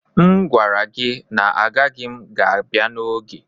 M gwara gị na agaghị m ga abia n'oge